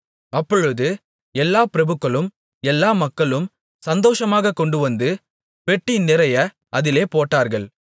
அப்பொழுது எல்லாப் பிரபுக்களும் எல்லா மக்களும் சந்தோஷமாகக் கொண்டுவந்து பெட்டி நிறைய அதிலே போட்டார்கள்